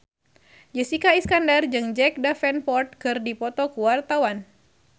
Jessica Iskandar jeung Jack Davenport keur dipoto ku wartawan